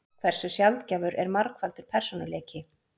Hversu sjaldgæfur er margfaldur persónuleiki?